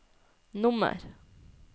nummer